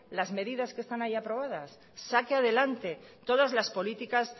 las medidas que están ahí aprobadas saque adelante todas las políticas